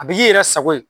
A bi k'i yɛrɛ sago ye